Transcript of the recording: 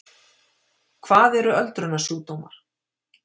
hvað eru öldrunarsjúkdómar